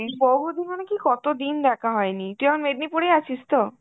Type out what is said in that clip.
বহুদিন মানে কী, কতদিন দেখা হয়নি. তুই এখন মেদিনীপুরেই আছিস তো?